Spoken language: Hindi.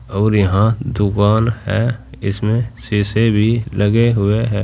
और यहां दुकान है इसमें शीशे भी लगे हुए हैं।